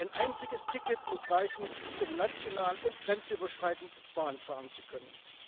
Ein einziges Ticket muss reichen, um national und grenzüberschreitend Bahn fahren zu können.